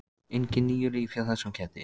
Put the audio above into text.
Engin níu líf hjá þessum ketti.